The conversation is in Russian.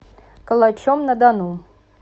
калачом на дону